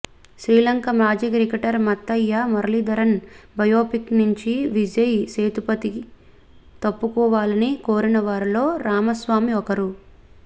శ్రీలంక మాజీ cricketer Muttiah Muralitharan biopic నుంచి విజయ్ సేతుపతి తప్పుకోవాలని కోరిన వారిలో రామస్వామి ఒకరు